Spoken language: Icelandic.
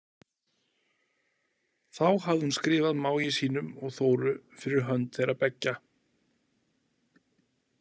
Þá hafði hún skrifað mági sínum og Þóru fyrir hönd þeirra beggja.